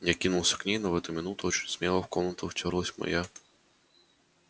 я кинулся к ней но в эту минуту очень смело в комнату втёрлась моя